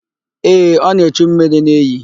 Ee, ọ na-echu mmiri n'iyi.